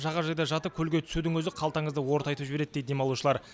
жағажайда жатып көлге түсудің өзі қалтаңызды ортайтып жібереді дейді демалушылар